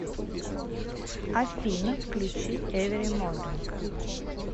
афина включи эвери морнинг